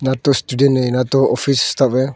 ना तो स्टूडेंट है ना तो ऑफिस स्टाफ है।